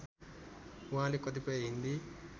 उहाँले कतिपय हिन्दी